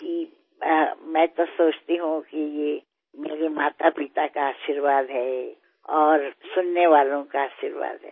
जी मैं तो सोचती हूँ कि मेरे मातापिता का आशीर्वाद है और सुनने वालों का आशीर्वाद है